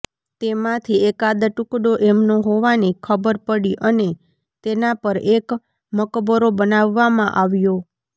તેમાંથી એકાદ ટુકડો એમનો હોવાની ખબર પડી અને તેના પર એક મકબરો બનાવવામાં આવ્યો